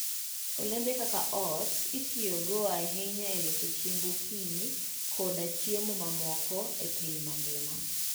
Olembe kaka oats itiyogo ahinya e loso chiemb okinyi koda chiemo mamoko e piny mangima.